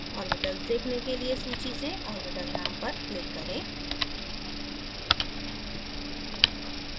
orbital देखने के लिए सूची से orbital name पर click करें